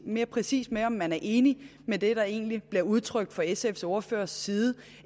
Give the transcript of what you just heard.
mere præcis med om man er enig i det der egentlig bliver udtrykt fra sfs ordførers side